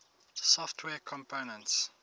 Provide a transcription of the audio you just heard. software components